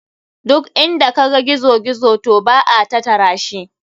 Duk inda kaga gizo gizo to ba a tatarashi.